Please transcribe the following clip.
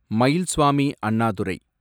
Mayilsamy Annadurai